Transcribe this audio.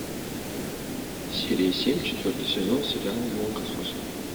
серия семь четвертый сезон сериала молокососы